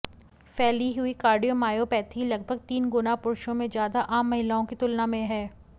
फैली हुई कार्डियोमायोपैथी लगभग तीन गुना पुरुषों में ज्यादा आम महिलाओं की तुलना में है